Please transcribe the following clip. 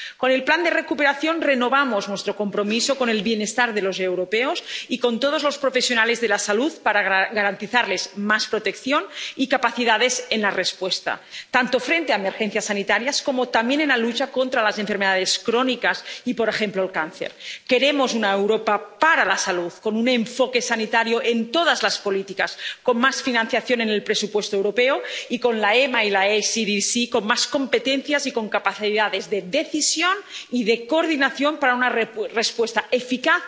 Con el plan de recuperación renovamos nuestro compromiso con el bienestar de los europeos y con todos los profesionales de la salud para garantizarles más protección y capacidades de respuesta, tanto frente a emergencias sanitarias, como también en la lucha contra las enfermedades crónicas y, por ejemplo, el cáncer. Queremos una Europa para la salud, con un enfoque sanitario en todas las políticas, con más financiación en el presupuesto europeo y con la EMA y el ECDC con más competencias y con capacidades de decisión y de coordinación, para una respuesta eficaz